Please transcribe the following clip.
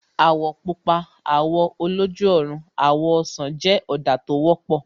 Àwọ̀ Pupa, àwọ̀ oloju ọrùn, àwọ̀ ọsàn jẹ́ ọ̀dà tó wọ́pọ̀